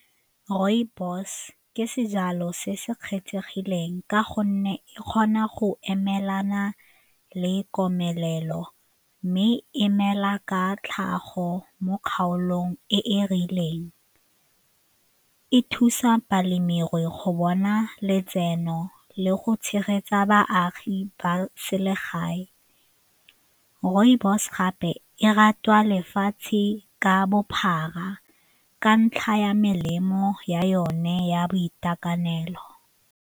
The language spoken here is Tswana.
Rooibos ke sejalo se se kgethegileng ka gonne e kgona go emelana le komelelo mme e mela ka tlhago mo kgaolong e e rileng, e thusa balemirui go bona letseno le go tshegetsa baagi ba selegae. Rooibos gape e ratwa lefatshe ka bophara ka ntlha ya melemo ya yone ya boitekanelo.